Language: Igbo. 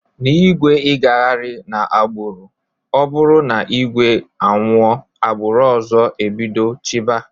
Na igwe igaghari na agburu ọburu na igwe anwụọ agburu ọzọ ebido chiba.